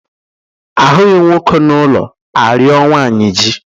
A hụghị nwoke n'ụlọ, a rịọ nwaanyị ji.